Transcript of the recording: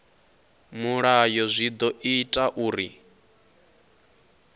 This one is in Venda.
mulayo zwi ḓo ita uri